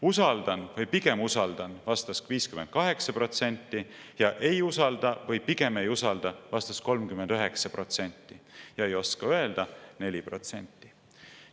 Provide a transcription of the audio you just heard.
"Usaldan" või "pigem usaldan" vastas 58% ja "ei usalda" või "pigem ei usalda" vastas 39%, "ei oska öelda" vastas 4%.